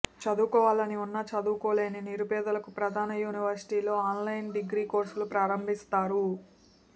చదువుకోవాలని ఉన్నా చదువు కోలేని నిరుపేదలకు ప్రధాన యూనివర్సిటీలలో అన్లైన్ డిగ్రీ కోర్సులు ప్రారంభిస్తారు